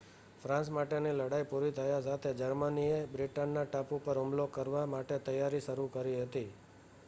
France માટેની લડાઈ પૂરી થવા સાથે જર્મનીએ બ્રિટનના ટાપુ ઉપર હુમલો કરવા માટે તૈયારી શરુ કરી હતી